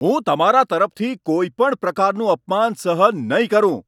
હું તમારા તરફથી કોઈ પણ પ્રકારનું અપમાન સહન નહીં કરું.